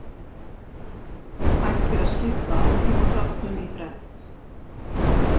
Hægt er að skipta áhrifaþáttum í þrennt.